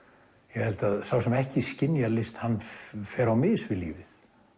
ég held að sá sem ekki skynjar list fari á mis við lífið